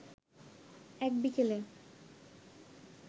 এক বিকেলে